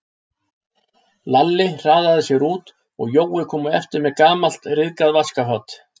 Lalli hraðaði sér út og Jói kom á eftir með gamalt, ryðgað vaskafat.